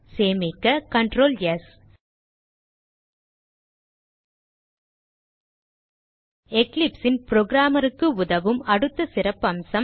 சேமிக்க Ctrl ஸ் eclipse ன் programmer க்கு உதவும் அடுத்த சிறப்பம்சம்